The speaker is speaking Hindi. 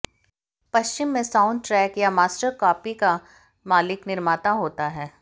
पश्चिम में साउंडटे्रक या मास्टर कापी का मालिक निर्माता होता है